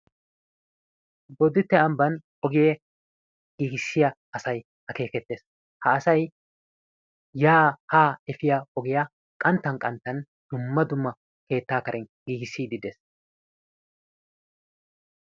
Boditte ambbaan ogiyaa giigissiyaa asay akeekettees. Ha asay yaa haa efiyaa ogiyaa qanttan qanttan keettaa karen giigissiidi de'ees.